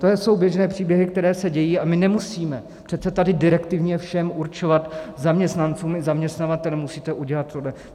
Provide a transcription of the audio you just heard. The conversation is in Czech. To jsou běžné příběhy, které se dějí, a my nemusíme přece tady direktivně všem určovat, zaměstnancům i zaměstnavatelům: Musíte udělat tohle.